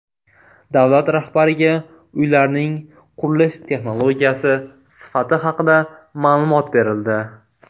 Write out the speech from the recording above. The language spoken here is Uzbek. Davlat rahbariga uylarning qurilish texnologiyasi, sifati haqida ma’lumot berildi.